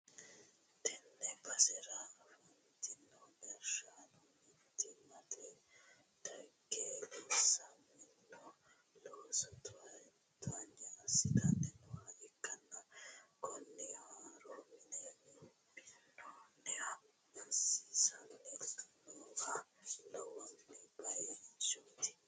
tenne basera afantino gashshaano mittimmatenni dage loosamino looso towaanyo assi'tanni nooha ikkanna, kunino haaro mine minnoonniha maassissanni noowa lawanno bayichooti.